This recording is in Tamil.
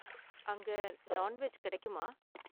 அங்க நான்வெஜ் கிடைக்குமா?